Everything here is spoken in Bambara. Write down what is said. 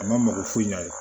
A mako ɲɛ